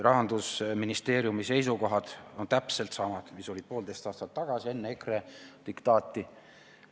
Rahandusministeeriumi seisukohad on täpselt samad, mis olid poolteist aastat tagasi, enne EKRE diktaati.